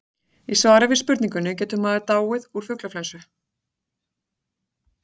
í svari við spurningunni getur maður dáið úr fuglaflensu